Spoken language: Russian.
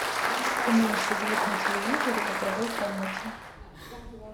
уменьши звук на телевизоре в игровой комнате